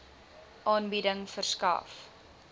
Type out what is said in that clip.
aanbieding verskaf